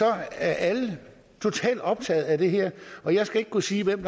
er alle totalt optaget af det her og jeg skal ikke kunne sige hvem